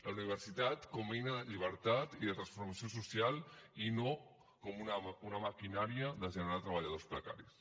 la universitat com a eina de llibertat i de transformació social i no com una maquinària de generar treballadors precaris